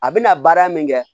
A bɛna baara min kɛ